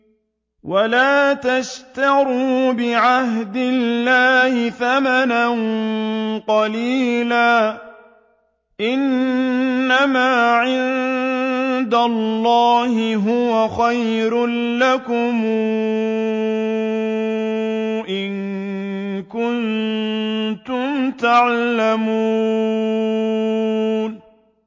وَلَا تَشْتَرُوا بِعَهْدِ اللَّهِ ثَمَنًا قَلِيلًا ۚ إِنَّمَا عِندَ اللَّهِ هُوَ خَيْرٌ لَّكُمْ إِن كُنتُمْ تَعْلَمُونَ